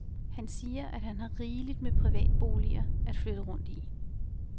Han siger, at han har rigeligt med privatboliger at flytte rundt i.